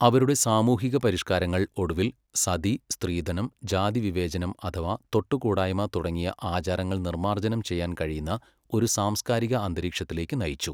അവരുടെ സാമൂഹിക പരിഷ്കാരങ്ങൾ ഒടുവിൽ സതി, സ്ത്രീധനം, ജാതി വിവേചനം അഥവാ തൊട്ടുകൂടായ്മ തുടങ്ങിയ ആചാരങ്ങൾ നിർമാർജ്ജനം ചെയ്യാൻ കഴിയുന്ന ഒരു സാംസ്കാരിക അന്തരീക്ഷത്തിലേക്ക് നയിച്ചു.